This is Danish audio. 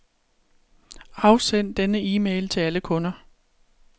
Afsend denne e-mail til alle kunder.